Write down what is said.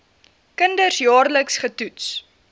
kinders jaarliks getoets